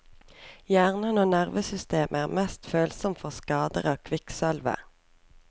Hjernen og nervesystemet er mest følsomme for skader av kvikksølvet.